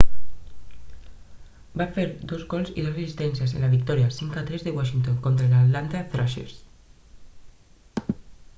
va fer 2 gols i 2 assistències en la victòria 5 a 3 de washington contra els atlanta thrashers